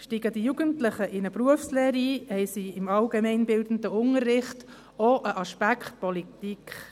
Steigen die Jugendlichen in eine Berufslehre ein, haben sie im allgemeinbildenden Unterricht auch als einen Aspekt Politik.